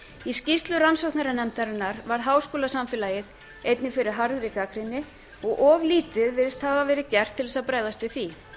í skýrslu rannsóknarnefndarinnar varð háskólasamfélagið einnig fyrir harðri gagnrýni og of lítið virðist hafa verið gert til að bregðast við því